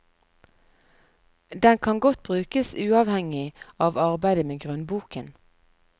Den kan godt brukes uavhengig av arbeidet med grunnboken.